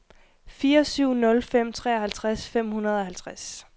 fire syv nul fem treoghalvtreds fem hundrede og halvtreds